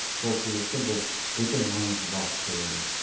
сол себепті бұл өте маңызды бағыт деп ойлаймын